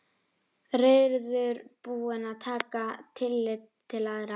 Reiðubúinn að taka tillit til allra.